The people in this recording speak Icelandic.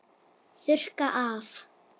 Þurrka af.